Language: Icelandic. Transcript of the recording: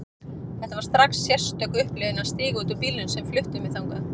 Það var strax sérstök upplifun að stíga út úr bílnum sem flutti mig þangað.